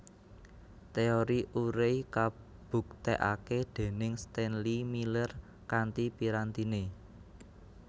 Teori Urey kabuktèkaké déning Stainléy Miller kanthi pirantiné